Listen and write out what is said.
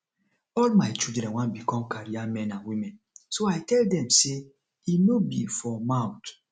all my children wan become career men and women so i tell dem say e no be for mouth